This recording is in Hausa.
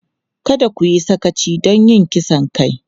Kada ku yi sakaci don yin kisan kai!